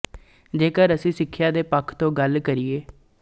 ਜੇਕਰ ਅਸੀਂ ਸਿੱਖਿਆ ਦੇ ਪੱਖ ਤੋਂ ਗੱਲ ਕਰੀਏ